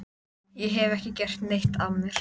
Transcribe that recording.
Ég hef ekki gert neitt af mér.